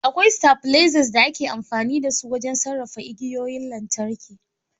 Akwai stabilizers da ake amfani da su wajen sarrafa igiyoyin lantarki